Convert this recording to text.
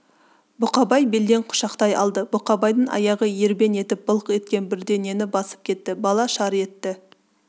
бұқабай белден құшақтай алды бұқабайдың аяғы ербең етіп былқ еткен бірдеңені басып кетті бала шар етті